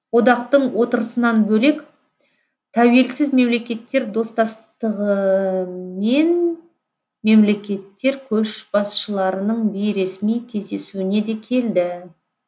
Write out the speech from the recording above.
одақтың отырысынан бөлек тәуелсіз мемлекеттер достастығы мен мемлекеттер көшбасшыларының бейресми кездесуіне де келді